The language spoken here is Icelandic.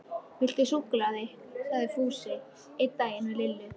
Viltu súkkulaði? sagði Fúsi einn daginn við Lillu.